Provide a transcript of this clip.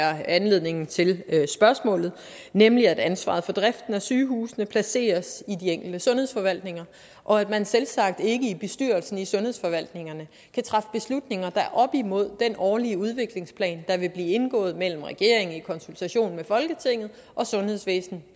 er anledningen til spørgsmålet nemlig at ansvaret for driften af sygehusene placeres i de enkelte sundhedsforvaltninger og at man selvsagt ikke i bestyrelsen i sundhedsforvaltningerne kan træffe beslutninger der går op imod den årlige udviklingsplan der vil blive indgået mellem regeringen i konsultation med folketinget og sundhedsvæsen